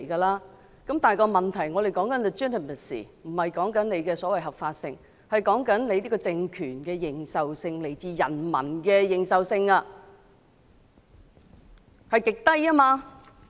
然而，我們現時所說的 "legitimacy"， 並不是指所謂的合法性，而是這個政權的認受性、是來自人民的認受性極低。